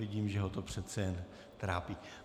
Vidím, že ho to přece jen trápí.